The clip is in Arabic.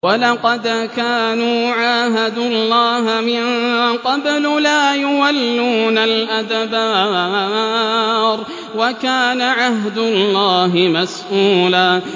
وَلَقَدْ كَانُوا عَاهَدُوا اللَّهَ مِن قَبْلُ لَا يُوَلُّونَ الْأَدْبَارَ ۚ وَكَانَ عَهْدُ اللَّهِ مَسْئُولًا